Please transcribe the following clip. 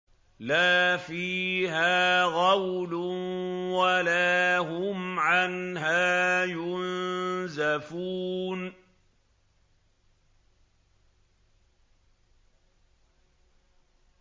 لَا فِيهَا غَوْلٌ وَلَا هُمْ عَنْهَا يُنزَفُونَ